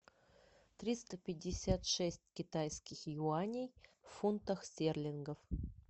триста пятьдесят шесть китайских юаней в фунтах стерлингов